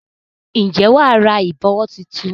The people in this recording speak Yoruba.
Ǹjẹ́ wà á ra ìbọ̀wọ́ tuntun?